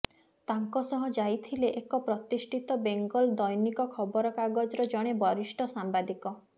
ତାଙ୍କ ସହ ଯାଇଥିଲେ ଏକ ପ୍ରତିଷ୍ଠିତ ବେଙ୍ଗଲ ଦୈନିକ ଖବରକାଗଜର ଜଣେ ବରିଷ୍ଠ ସାମ୍ବାଦିକ